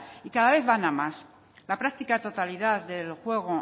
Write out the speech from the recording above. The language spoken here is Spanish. y cada vez van a más la práctica totalidad del juego